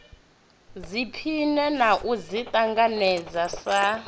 ḓiphine na u ḓiṱanganedza sa